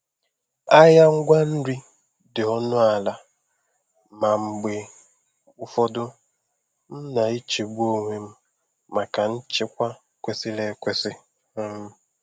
Ahịa ngwa nri dị ọnụ ala, ma mgbe ụfọdụ m na-echegbu onwe m maka nchekwa kwesịrị ekwesị. um